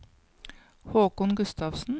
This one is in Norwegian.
Haakon Gustavsen